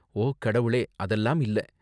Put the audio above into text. ஓ கடவுளே, அதெல்லாம் இல்ல!